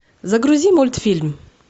загрузи мультфильм